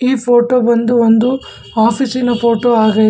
ಈ ಫೋಟೋ ಬಂದು ಒಂದು ಆಫೀಸಿನ ಫೋಟೋ ಆಗೈತೆ--